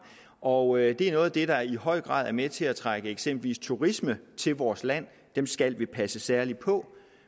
og det er noget af det der i høj grad er med til at trække eksempelvis turisme til vores land dem skal vi passe særlig på